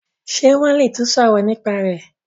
ṣe won le tún sọrọ nípa rẹ.